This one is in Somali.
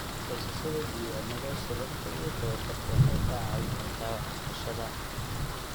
Haysashada diiwaannada shirarka iyo tababarka waxay kaa caawin kartaa waxbarashada.